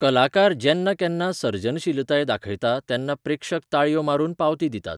कलाकार जेन्ना केन्ना सर्जनशीलताय दाखयता तेन्ना प्रेक्षक ताळयो मारून पावती दितात.